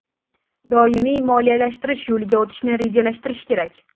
Doimiy moliyalashtirish yo‘liga o‘tishni rejalashtirish kerak”.